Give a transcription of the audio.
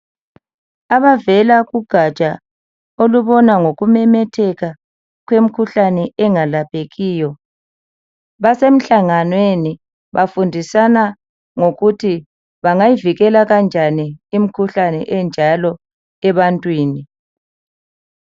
Abavela kugatsha olubona ngokumemetheka kwemkhuhlane engelaphekiyo basemhlanganweni bafundisana ngokuthi bangayivikela kanjani imkhuhlane enjalo ebantwini.